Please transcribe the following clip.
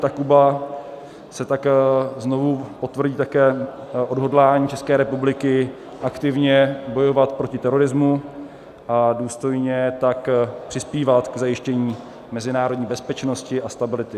Takuba se tak znovu potvrdí také odhodlání České republiky aktivně bojovat proti terorismu, a důstojně tak přispívat k zajištění mezinárodní bezpečnosti a stability.